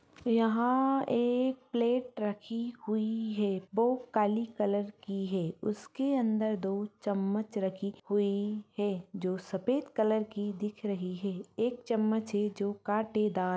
यहां एक प्लेट रखी हुईं है वो काली कलर की है उसके अंदर दो चम्मच रखी हुई है जो सफेद कलर की दिख रही है एक चम्मच है जो काटेदार --